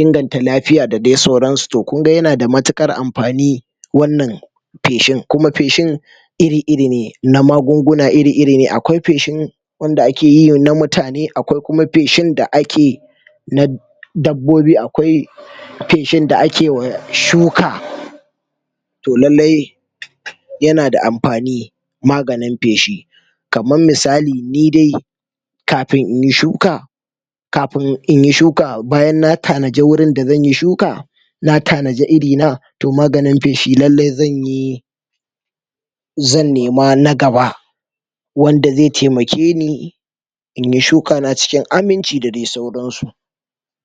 inganta lafiya da dai sauransu toh kunga yanada mutukar amfani wannan feshi kuma feshin iri-iri ne na magunguna iri-iri akwai feshin wanda ake yi na mutane akwai kuma feshin da ake na dabbobi, akwai feshin da akeyi wa shuka toh lailai yana da amfani maganin feshi kaman misali ni dai kafin inyi shuka kafin inyi shuka bayan na tanadi wurin da zanyi shuka na tanadi iri na toh maganin feshi lailai zanyi zan nema na gaba wanda zai taimakeni inyi shuka na cikin aminci da dai sauransu.